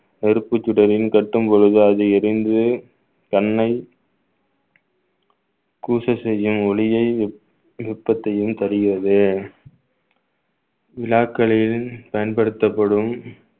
நெருப்புச் சுடரில் கட்டும்பொழுது அது எரிந்து தன்னை கூச செய்யும் ஒளியை நுட்பத்தையும் தருகிறது விழாக்களில் பயன்படுத்தப்படும்